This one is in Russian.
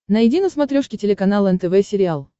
найди на смотрешке телеканал нтв сериал